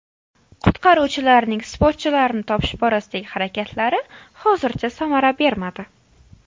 Qutqaruvchilarning sportchilarni topish borasidagi harakatlari hozircha samara bermadi.